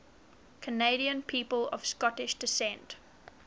canadian people of scottish descent